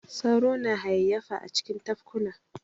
Sauro na hayayyafa a cikin tafkuna.